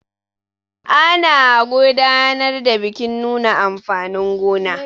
ana gudanar da bikin nuna amfanin gona